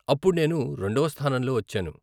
అప్పుడు నేను రెండవ స్థానంలో వచ్చాను.